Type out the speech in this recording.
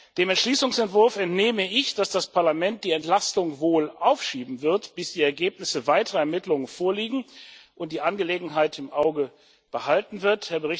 Dem Entschließungsentwurf entnehme ich, dass das Parlament die Entlastung wohl aufschieben wird, bis die Ergebnisse weiterer Ermittlungen vorliegen, und die Angelegenheit im Auge behalten wird.